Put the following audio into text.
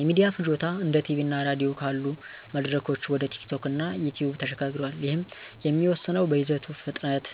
የሚዲያ ፍጆታ እንደ ቲቪ እና ራዲዮ ካሉ መድረኮች ወደ ቲኪቶክ እና ዩቲዩብ ተሸጋግሯል፤ ይህም የሚወሰነው በይዘቱ ፍጥነት፣